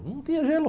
Não tinha gelo.